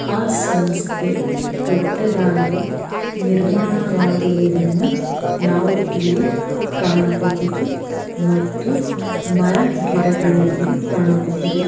ಆ ಸಂಸ್ಥೆ ದೊಡ್ಡದಾಗಿ ನಿರ್ಮಾಣ ವಾಗಿರುವುದನು ನಾವು ಇಲ್ಲಿ ಕಾಣಬಹುದು ಮತ್ತು ಮರಗಿಡಗಳು ಇರೋದು ನಾವು ಕಾಣಬಹುದು .